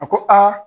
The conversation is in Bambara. A ko aa